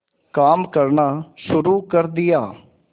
काम करना शुरू कर दिया